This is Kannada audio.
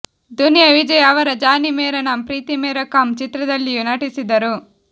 ದುನಿಯಾ ವಿಜಯ್ ಅವರ ಜಾನಿ ಮೇರಾ ನಾಮ್ ಪ್ರೀತಿ ಮೇರಾ ಕಾಮ್ ಚಿತ್ರದಲ್ಲಿಯೂ ನಟಿಸಿದರು